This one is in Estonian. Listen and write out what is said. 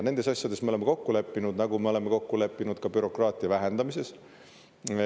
Nendes asjades me oleme kokku leppinud, nagu me oleme kokku leppinud ka bürokraatia vähendamises.